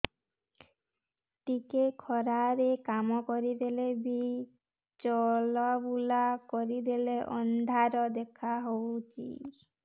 ଟିକେ ଖରା ରେ କାମ କରିଦେଲେ କି ଚଲବୁଲା କରିଦେଲେ ଅନ୍ଧାର ଦେଖା ହଉଚି